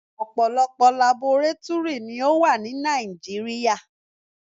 Ọ̀pọ̀lọpọ̀ labọrátúrì ni ó wà ní Nàìjíríà.